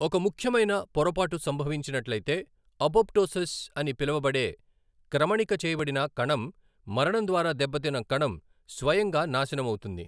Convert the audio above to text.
ఒక ముఖ్యమైన పొరపాటు సంభవించినట్లయితే, అపోప్టోసిస్ అని పిలువబడే క్రమణిక చేయబడిన కణం మరణం ద్వారా దెబ్బతిన్న కణం స్వయంగా నాశనమవుతుంది.